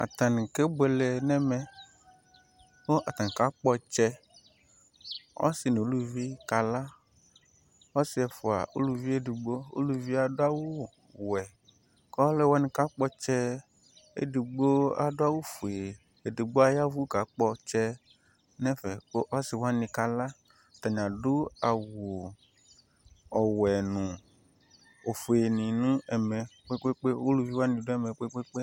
Atani kebuele nɛ mɛ, kʋ atani kakpɔ ɔtsɛ Ɔsi nʋ uluvi kala Ɔsi ɛfua, uluvi ɛdigbo Uluvi e adʋ awʋ wɛ kʋ alʋwa kakpɔ ɔtsɛ ɛdigbo adʋ awʋ fue, ɛdigbo ayavʋ kakpɔ ɔtsɛ nɛ fɛ kʋ asi wani kala Atani adʋ awʋ ɔwɛ nʋ ofue ni nʋ ɛmɛ kpekpeekpe Aluvi wani dʋ ɛmɛ kpekpeekpe